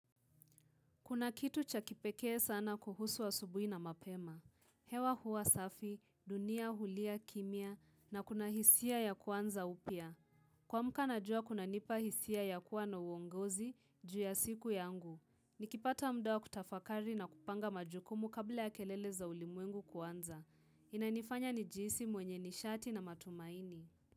Kuna kitu cha kipekee sana kuhusu asubui na mapema. Hewa huwa safi, dunia, hulia, kimya, na kuna hisia ya kuanza upya. Kuamka na jua kunanipa hisia yakuwa na uongozi, jua siku yangu. Nikipata muda wa kutafakari na kupanga majukumu kabla ya kelele za ulimwengu kuanza. Inanifanya nijiisi mwenye nishati na matumaini.